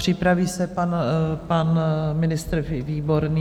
Připraví se pan ministr Výborný.